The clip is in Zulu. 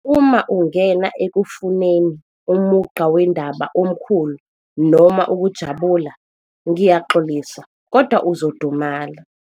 Uma ungena ekufuneni umugqa wendaba omkhulu noma ukujabula, ngiyaxolisa kodwa uzodumala.